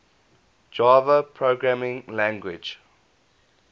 java programming language